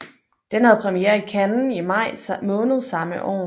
Den havde premiere i Cannes i maj måned samme år